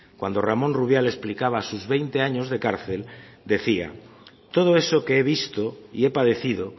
cuando ramón rubial explicaba sus veinte años de cárcel decía todo eso que he visto y he padecido